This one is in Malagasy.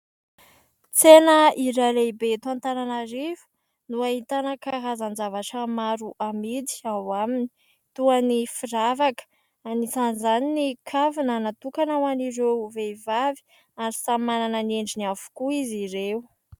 Tsena iray lehibe eto Antananarivo no ahitana karazan-javatra maro amidy ao aminy toa ny firavaka anisan'izany ny kavina natokana ho an'ireo vehivavy ary samy manana ny endriny avokoa izy ireo.